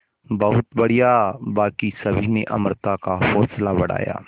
बहुत बढ़िया बाकी सभी ने अमृता का हौसला बढ़ाया